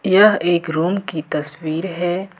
यह एक रूम की तस्वीर है।